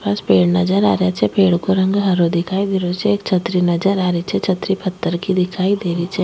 आस पास पेड़ नजर आ रेहा छे पेड़ को रंग हरो दिखाई दे रो छे एक छतरी नजर आ री छे छतरी पत्थर की दिखाई देरी छे।